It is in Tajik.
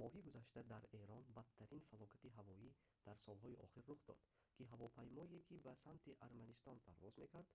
моҳи гузашта дар эрон бадтарин фалокати ҳавоӣ дар солҳои охир рух дод ки ҳавопаймое ки ба самти арманистон парвоз мекард